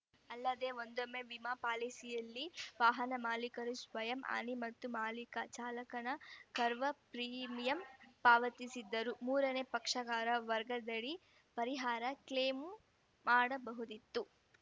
ಅಲ್ಲದೆ ಒಂದೊಮ್ಮೆ ವಿಮಾ ಪಾಲಿಸಿಯಲ್ಲಿ ವಾಹನ ಮಾಲೀಕರು ಸ್ವಯಂ ಹಾನಿ ಮತ್ತು ಮಾಲೀಕ ಚಾಲಕನ ಕವರ್‌ ಪ್ರೀಮಿಯಂ ಪಾವತಿಸಿದ್ದರೆ ಮೂರನೇ ಪಕ್ಷಗಾರ ವರ್ಗದಡಿ ಪರಿಹಾರ ಕ್ಲೇಮು ಮಾಡಬಹುದಿತ್ತು